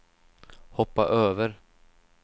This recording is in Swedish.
hoppa över